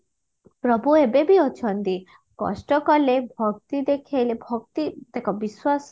ପ୍ରଭୁ ଏବେ ବି ଅଛନ୍ତି କଷ୍ଟ କଲେ ଭକ୍ତି ଦେଖେଇଲେ ଭକ୍ତି ଦେଖ ବିଶ୍ବାସ